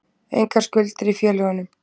Engar skuldir í félögunum